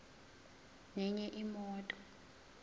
nenye imoto